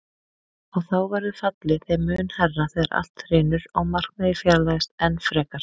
Og þá verður fallið þeim mun hærra þegar allt hrynur og markmiðið fjarlægist enn frekar.